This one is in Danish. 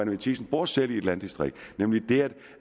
matthiesen bor selv i et landdistrikt nemlig det